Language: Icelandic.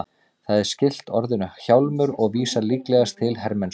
Það er skylt orðinu hjálmur og vísar líklegast til hermennsku.